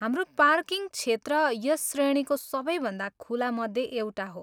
हाम्रो पार्किङ क्षेत्र यस श्रेणीको सबैभन्दा खुलामध्ये एउटा हो।